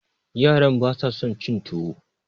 yaran ba sa son cin tuwo